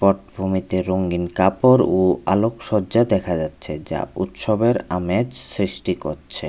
পটভূমিতে রঙ্গিন কাপড় ও আলোকসজ্জা দেখা যাচ্ছে যা উৎসবের আমেজ সৃষ্টি করছে।